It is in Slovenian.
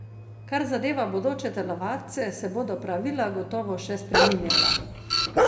Kar zadeva bodoče telovadce, se bodo pravila gotovo še spreminjala.